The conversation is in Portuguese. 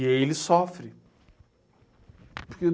E aí ele sofre.